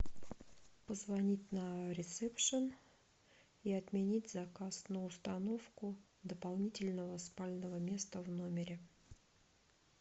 позвонить на ресепшн и отменить заказ на установку дополнительного спального места в номере